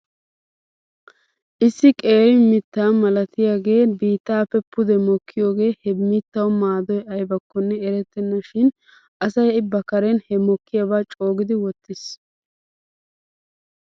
Issi qeeri mitta malatiyaagee biittaappe pude mokkiyaagee he mittaw maadoy aybakkonne erettena shin asay ba karen he mokkiyaabaa coogidi wottis